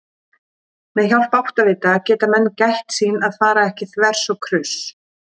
Með hjálp áttavita geta menn gætt sín að fara ekki þvers og kruss!